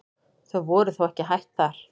Þau voru þó ekki hætt þar.